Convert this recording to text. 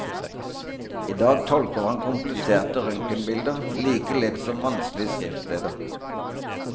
I dag tolker han kompliserte røntgenbilder like lett som vanskelige skriftsteder.